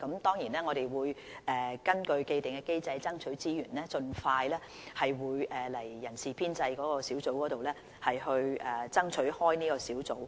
當然，我們會根據既定機制，爭取資源，盡快向立法會人事編制小組委員會爭取開設這個小組。